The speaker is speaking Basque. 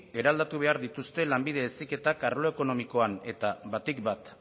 eraldatu behar dituzte lanbide heziketak arlo ekonomikoan eta batik bat